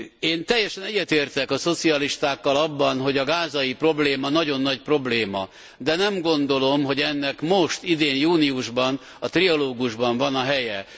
Én teljesen egyetértek a szocialistákkal abban, hogy a gázai probléma nagyon nagy probléma, de nem gondolom, hogy ennek most, idén júniusban a trialógusban van a helye.